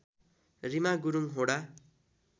Reema Gurung Hoda